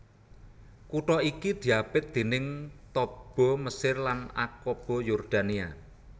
Kutha iki diapit déning Taba Mesir lan Aqaba Yordania